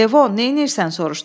Levon, neynirsən soruşdu.